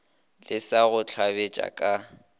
le sa go hlabetše ka